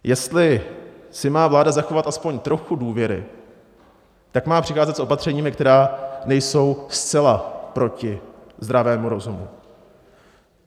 Jestli si má vláda zachovat aspoň trochu důvěry, tak má přicházet s opatřeními, která nejsou zcela proti zdravému rozumu.